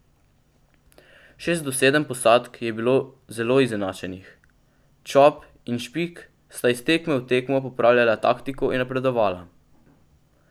Šest do sedem posadk je bilo zelo izenačenih, Čop in Špik sta iz tekme v tekmo popravljala taktiko in napredovala.